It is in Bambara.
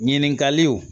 Ɲininkaliw